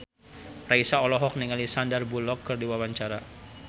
Raisa olohok ningali Sandar Bullock keur diwawancara